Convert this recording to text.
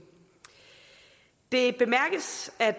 det bemærkes at